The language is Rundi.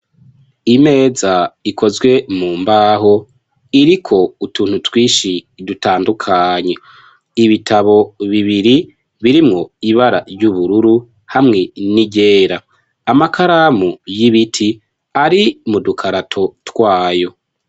Imeza ikozwe mu mbaho iriko utuntu twishi dutandukanye ibitabo bibiri birimwo ibara ry'ubururu hamwe niryera amakaramu y'ibiti ari mu dukarato twayo.